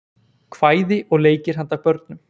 Kvæði og leikir handa börnum.